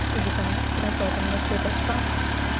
или там тратила там на какой-то шкаф